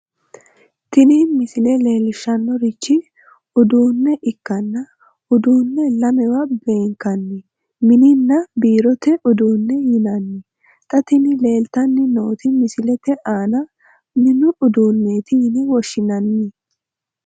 tini misile leellishshannorichi uduunne ikkanna uduunne lamewa beenkanni mininna biirote uduunne yinanni xa tini leeltanni nooti misilete aana mini uduunneeti yine woshshinanni.